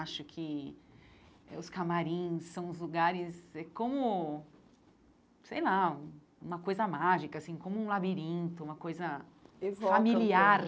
Acho que eh os camarins são os lugares... É como, sei lá, uma coisa mágica assim, como um labirinto, uma coisa evoca familiar.